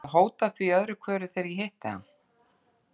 Hann hefur verið að hóta því öðru hverju þegar ég hitti hann.